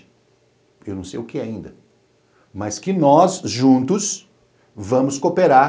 Eu não sei o que é ainda, mas que nós, juntos, vamos cooperar.